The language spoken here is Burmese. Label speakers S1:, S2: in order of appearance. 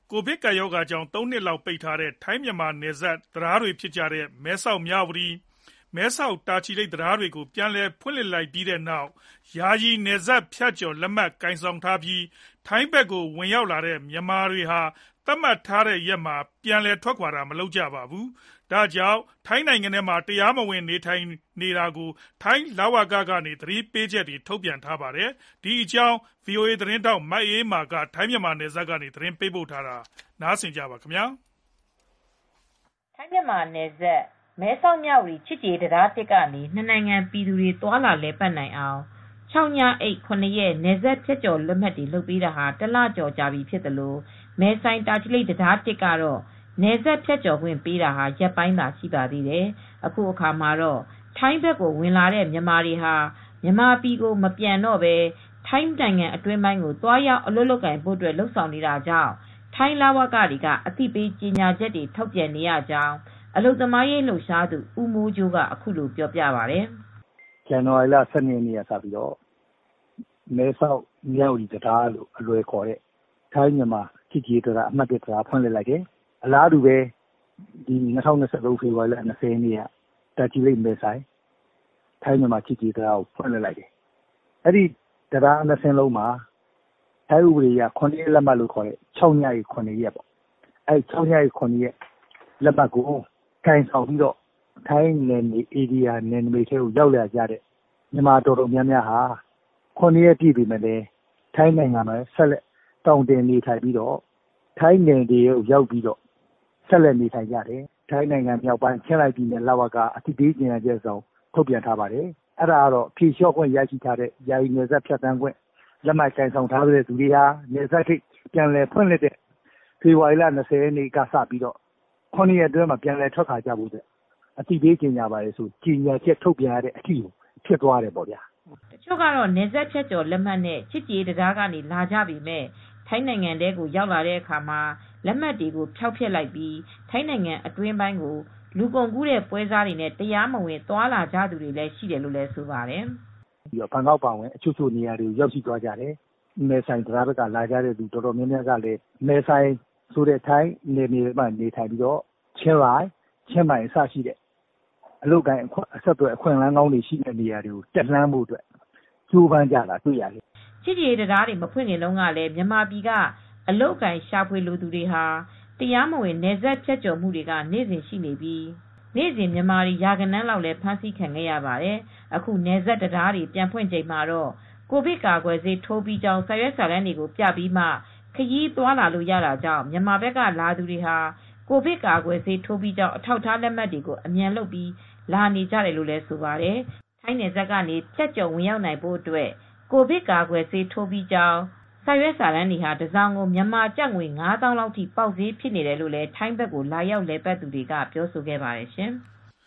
S1: ကိုဗစ် ၁၉ ကပ်ရောဂါကြောင့် ၃ နှစ်ကြာပိတ်ထားခဲ့ရတဲ့ ထိုင်းမြန်မာနယ်စပ်က မဲဆောက်-မြဝတီ ချစ်ကြည်ရေးတံတား (၁) နဲ့ မဲဆိုင်-တာချီလိတ် ချစ်ကြည်ရေးတံတား (၁) တို့ကိုပြန်လည်ဖွင့်လှစ်လိုက်ပြီးနောက် ယာယီ နယ်စပ်ဖြတ်ကျော် လက်မှတ်ကိုင်ဆောင်ပြီး ထိုင်းဘက်ကိုဝင်လာတဲ့မြန်မာတွေဟာ သတ်မှတ်ထားတဲ့ရက်မှာ ပြန်လည်ထွက်ခွါမသွားကြဘဲ ထိုင်းနိုင်ငံထဲမှာပဲ တရားမဝင်နေထိုင်နေတာကြောင့် ထိုင်းလူဝင်မှုကြီးကြပ်ရေးဌာနက အသိပေးချက်တွေ ထုတ်ပြန်နေပါတယ်။ ဒီသတင်းကို ဗွီအိုအေသတင်းထောက် မအေးအေးမာက သတင်းပေးပို့ထားပါတယ်။
S2: ထိုင်းမြန်မာနယ်စပ်က မဲဆောက်-မြဝတီချစ်ကြည်ရေးတံတား (၁) ကနေ နှစ်နိုင်ငံပြည်သူတွေ သွားလာလည်ပတ်နိုင်အောင် ၆ ညအိပ် ၇ ရက် နယ်စပ်ဖြတ်ကျော်လက်မှတ်တွေထုတ်ပေးထားထားတာ တလကျော်ကြာပြီဖြစ်သလို မဲဆိုင်-တာချီလိတ် တံတား (၁) ကနေ နယ်စပ်ဖြတ်ကျော်ခွင့်ပေးတာလည်း ရက်ပိုင်းသာရှိပါသေးတယ်။ အခုအခါမှာတော့ ထိုင်းဘက်ကိုဝင်လာတဲ့မြန်မာတွေဟာ မြန်မာပြည်မပြန်တော့ဘဲ ထိုင်းအတွင်းပိုင်းကို သွားရောက်အလုပ်လုပ်ဖို့ လုပ်ဆောင်နေတဲ့အတွက် ထိုင်းလဝကတွေက အသိပေးကြေညာချက်တွေထုတ်ပြန်နေရတယ်လို့ အလုပ်သမားရေး လှုပ်ရှားသူဦးမိုးကြိုးက အခုလိုပြောပါတယ်။
S3: “ဇန်နဝါရီလ ၁၂ ရက်နေ့က မဲဆောက်-မြဝတီတံတားလို့အလွယ်ခေါ်တဲ့ မဲဆောက်-မြဝတီချစ်ကြည်ရေးတံတားဖွင့်လှစ်လိုက်တယ်။ အလားတူပဲ ပြီးခဲ့တဲ့ဖေဖေါ်ဝါရီ ၂၀ ရက်နေ့က မဲဆိုင်-တာချီလိတ်ချစ်ကြည်ရေးတံတားကို ဖွင့်လှစ်လိုက်တယ်။ အဲဒီတံတား၂ စင်းလုံးမှာ ၆ ရက်ညအိပ် ၇ ရက်လက်မှတ်ကိုကိုင်ဆောင်ပြီး ထိုင်းနယ်နမိတ်ထဲကို ရောက်လာကြတဲ့မြန်မာအတော်များများက ထိုင်းနယ်မြေထဲရောက်ပြီးတော့ ၇ ရက်ပြည့်ပေမယ့်လည်း ထိုင်းနိုင်ငံထဲမှာဆက်လက်သောင်တင်ပြီး ဆက်လက်နေထိုင်နေကြတယ်။ ဒီအတွက် ထိုင်းနိုင်ငံမြောက်ပိုင်း ချင်းရိုင်လဝကက အသိပေးကြေညာတာကတော့ ဖြေလျော့ခွင့်ရပြီးနောက် နယ်စပ်ဖြတ်ကျော်ပြီးလာကြတဲ့သူတွေအနေနဲ့ နယ်စပ်ဂိတ်ပြန်ဖွင့်တဲ့ ဖေဖေါ်ဝါရီ ၂၀ ရက်ကနေ ၇ ရက်အတွင်းမှာ ပြန်လည်ထွက်ခါွကြဖို့ဆိုပြီး အသိပေးကြေညာရတဲ့အထိဖြစ်သွားတယ်။
S2: ” တချို့ကတော့ နယ်စပ်ဖြတ်ကျော်လက်မှတ်နဲ့ ချစ်ကြည်ရေးတံတားကနေ လာကြပေမယ့် ထိုင်းနိုင်ငံထဲကိုရောက်တဲ့အခါ လက်မှတ်တွေကိုဖျောက်ဖျက်လိုက်ပြီး ထိုင်းနိုင်ငံအတွင်းပိုင်းကို လူကုန်ကူးတဲ့ပွဲစားတွေနဲ့တရားမဝင် သွားကြသူတွေ ရှိနေတယ်လို့လည်း ဆိုပါတယ်။
S3: “ဘန်ကောက်အပါအဝင် တချို့နေရာတွေထိရောက်သွားတယ်။ မဲဆိုင်ကိုရောက်တဲ့သူတွေကလည်း ချင်းရိုင်၊ ချင်းမိုင်ထိတက်ပြီး အလုပ်အကိုင်အခွင့်အလန်းကောင်းတွေ ရဖို့အတွက်ကြိုးစားကြတာတွေ့ရတယ်။
S2: ” ချစ်ကြည်ရေးတံတားတွေမဖွင့်ခင်တုန်းကတည်း မြန်မာပြည်ကအလုပ်အကိုင်ရှာဖွေလိုသူတွေဟာ နေ့စဉ်ဆိုသလို တရားမဝင်နယ်စပ်ဖြတ်ကျော်ဝင်လာနေကြပြီး နေ့စဉ်မြန်မာတွေ ရာဂဏန်းလောက်ဖမ်းဆီးခံခဲ့ရပါတယ်။ အခု နယ်စပ်တံတားတွေပြန်ဖွင့်ချိန်မှတော့ ကိုဗစ်ကာကွယ်ဆေးထိုးပြီးကြောင်းစာရွက်စာတမ်းတွေကို ပြပြီးမှ ခရီးသွားလာလို့ရတာကြောင့် မြန်မာဘက်ကလာသူတွေဟာ ကိုဗစ်ကာကွယ်ဆေးထိုးပြီးကြောင်း အထောက်အထားလက်မှတ်တွေကို အမြန်လုပ်ပြီး လာနေကြနေကြတယ်လို့ဆိုပါတယ်။ ထိုင်းနယ်စပ်ကနေ ဖြတ်ကျော်ဝင်ရောက်နိုင်ဖို့အတွက် ကိုဗစ်ကာကွယ်ဆေးထိုးပြီးကြောင်း စာရွက်စာတမ်းတွေဟာတစောင်ကို မြန်မာကျပ်ငွေ ၅ သောင်းလောက်ထိ ပေါက်ဈေးဖြစ်နေတယ်လို့ ထိုင်းဘက်ကိုလာရောက်လည်ပတ်သူတွေကဆိုပါတယ်ရှင်။